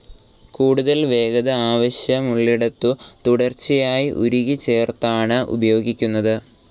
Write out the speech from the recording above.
കൂടുതൽ വേഗത ആവശ്യമുള്ളിടത്തു തുടർച്ചയായി ഉരുക്കി ചേർത്താണ് ഉപയോഗിക്കുന്നത്.